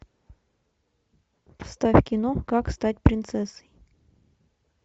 ставь кино как стать принцессой